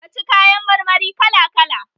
ka ci kayan mar mari kala kala!